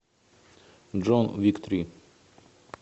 джон уик три